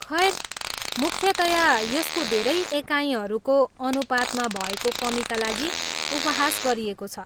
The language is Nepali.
खैर, मुख्यतया यसको धेरै एकाइहरूको अनुपातमा भएको कमीका लागि उपहास गरिएको छ।